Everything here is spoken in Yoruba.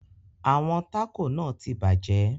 Àwọn taco náà tí bàjẹ́.